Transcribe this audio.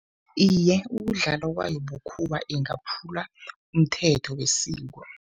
Iye, ukudlala kwayo bukhuwa ingaphula umthetho wesiko.